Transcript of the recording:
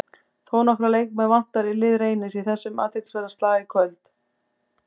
Þónokkra leikmenn vantar í lið Reynis í þessum athyglisverða slag í kvöld.